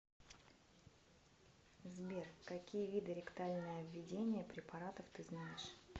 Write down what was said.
сбер какие виды ректальное введение препаратов ты знаешь